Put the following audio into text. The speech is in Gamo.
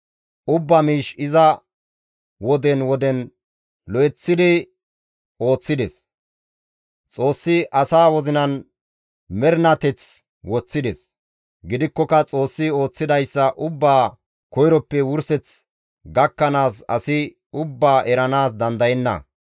Ubbaa miish iza woden woden lo7eththidi ooththides. Xoossi asaa wozinan mernateth woththides; gidikkoka Xoossi ooththidayssa ubbaa koyroppe wurseth gakkanaas asi ubbaa eranaas dandayenna.